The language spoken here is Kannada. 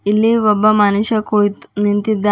ಇಲ್ಲಿ ಒಬ್ಬ ಮನುಷ್ಯ ಕುಳಿತ್ ನಿಂತಿದ್ದಾನ್--